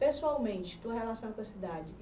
Pessoalmente, tua relação com a cidade.